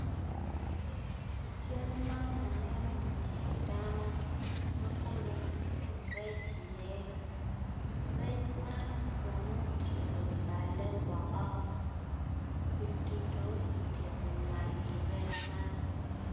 I cal man aneno i cing dano ma kono kiketo rec iye rec man kono otyeko balle woko kwidi dong otyeko nywal i rec man.